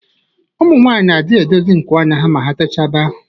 Ụmụ nwanyị na adi edozi nku anya ya ma ha techaa ba